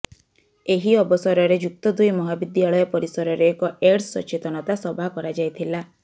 ଏହି ଅବସରରେ ଯୁକ୍ତ ଦୁଇ ମହାବିଦ୍ୟାଳୟ ପରିସରରେ ଏକ ଏଡସ୍ ସଚେତନତା ସଭା କରାଯାଇଥିଲା